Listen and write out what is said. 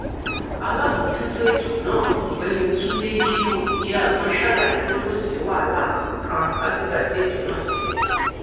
aláàmọjútó ètò náà ọgbẹni túnde jimoh idiagbọn ṣàlàyé pé kò sí wàhálà kankan látìgbà tí ètò náà ti bẹrẹ